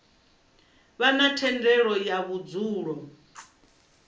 vha na thendelo ya vhudzulo